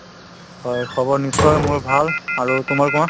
হয় খবৰ নিশ্চয় মোৰ ভাল, আৰু তোমাৰ কোৱা।